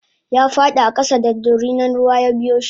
yafadi a kasa da dorinan ruwa yabiyoshi